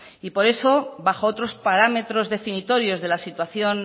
y por eso bajo otros parámetros definitorios de la situación